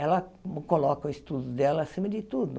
Ela coloca o estudo dela acima de tudo.